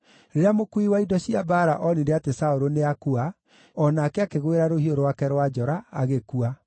Rĩrĩa mũkuui wa indo cia mbaara onire atĩ Saũlũ nĩakua, o nake akĩgwĩra rũhiũ rwake rwa njora, agĩkua.